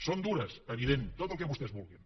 són dures evident tot el que vostès vulguin